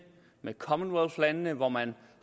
med commonwealthlandene hvor man